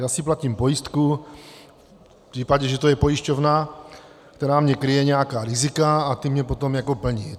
Já si platím pojistku v případě, že to je pojišťovna, která mi kryje nějaká rizika a ta mně potom jako plní.